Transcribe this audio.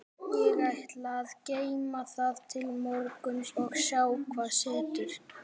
Ég ætla að geyma það til morguns og sjá hvað setur.